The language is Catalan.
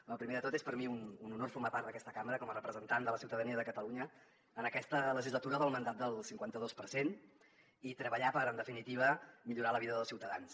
bé primer de tot és per a mi un honor formar part d’aquesta cambra com a representant de la ciutadania de catalunya en aquesta legislatura del mandat del cinquanta dos per cent i treballar per en definitiva millorar la vida dels ciutadans